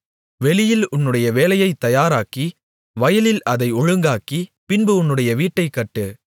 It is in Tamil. வெளியில் உன்னுடைய வேலையைத் தயாராக்கி வயலில் அதை ஒழுங்காக்கி பின்பு உன்னுடைய வீட்டைக் கட்டு